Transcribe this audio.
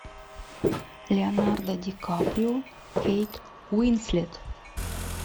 леонардо ди каприо кейт уинслет